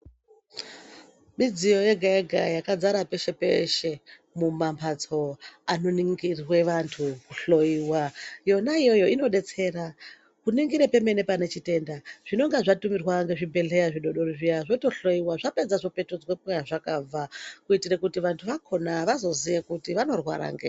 Midziyo yega-yega yakagara peshe-peshe mumamhatso anoningirwe antu kuhloiwa. Yona iyoyo inobetsera kuningire pemene pane chitenda. Zvinonga zvatumirwa ngezvibhedhleya zvidodori zviya zvotohloiwa zvapedza zvopetudzwa kwazvakabva. Kuitira kuti vantu vakona vazoziye kuti vanorwara ngei.